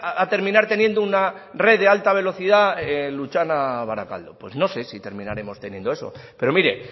a terminar teniendo una red de alta velocidad lutxana barakaldo pues no sé si terminaremos teniendo eso pero mire